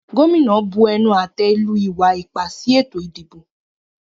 Gómìnà bu ẹnu-àtẹ́ lu ìwa-ipá sí ètò-ìdìbò.